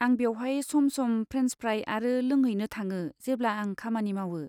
आं बेवहाय some some friends फ्राइ आरो लोंहैनो थाङो जेब्ला आं खामानि मावो।